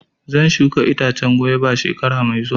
Zan shuka itacen gwaiba shekara mai zuwa.